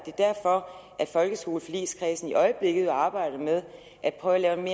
derfor at folkeskoleforligskredsen i øjeblikket arbejder med at prøve at lave en